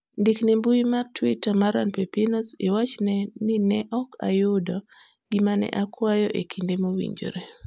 ndik ne mbui mar twita mar an pepinos iwachni ne ok ayudo gima ne akwayo e kinde mowinjore